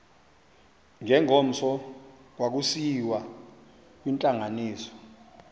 ngengomso kwakusiyiwa kwintlanganiso